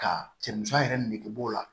Ka cɛmansi yɛrɛ nege bɔ o la